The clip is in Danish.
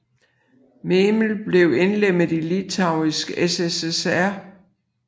Memel blev indlemmet i Litauiske SSR